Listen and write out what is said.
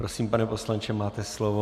Prosím, pane poslanče, máte slovo.